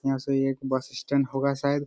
यहां से एक बस स्टैंड होगा शायद।